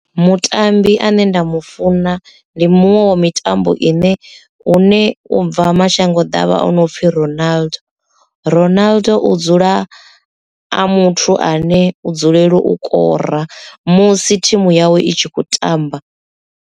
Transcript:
Mutambi ane nda mu funa ndi muṅwe wo mitambo ine u ne u bva mashango ḓavha o no pfhi Ronaldo, Ronaldo u dzula a muthu ane u dzulela u kora musi thimu yawe itshi kho tamba.